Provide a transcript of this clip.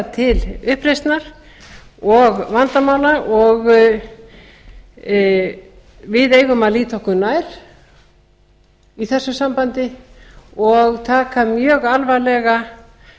til uppreisnar og vandamála og við eigum að líta okkur nær í þessu sambandi og taka mjög alvarlega